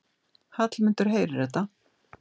Hallmundur heyrir þetta.